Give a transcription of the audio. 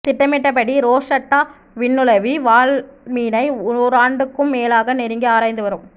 திட்டமிட்டபடி ரோஸட்டா விண்ணுளவி வால்மீனை ஓராண்டுக்கும் மேலாக நெருங்கி ஆராய்ந்து வரும்